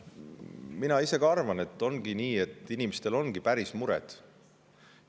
Mina ise ka arvan, et on nii, et inimestel ongi päris mured.